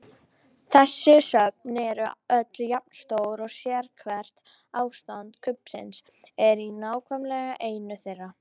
Þessi söfn eru öll jafn stór og sérhvert ástand kubbsins er í nákvæmlega einu þeirra.